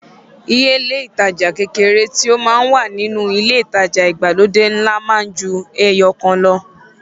Iye ile ìtajà kékeré tí ó máa ń wà nínú ilé ìtajà ìgbàlódé ńlá máa ń ju ẹyọ kan lọ.